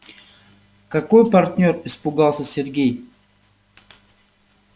какой партнёр испугался сергей